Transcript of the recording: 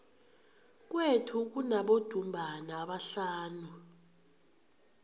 kwethu kunabodumbana abahlanu